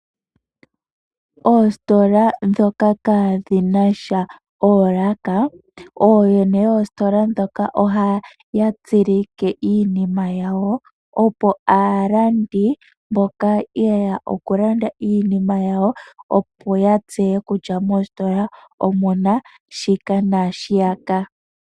Oositola dhoka kaadhinasha oolaka oyene yoositola dhoka ohaya tsilike iinima yawo opo aalandi mboka yeya okulanda iinima yawo opo yatseye kutya mostola kutya omuna shika nashiyaka.